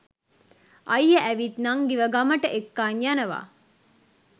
අයියා ඇවිත් නංගිව ගමට එක්කන් යනවා